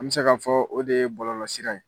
An bɛ se ka fɔ o de ye bɔlɔlɔsira ye.